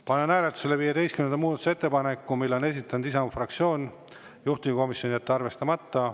Panen hääletusele 15. muudatusettepaneku, mille on esitanud Isamaa fraktsioon, juhtivkomisjon: jätta arvestamata.